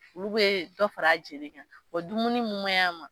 Olu bɛ dɔ fara a joli kan wa dumuni minnu man ɲi a ma